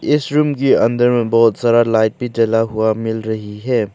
इस रूम की अंदर में बहोत सारा लाइट भी जला हुआ मिल रही है।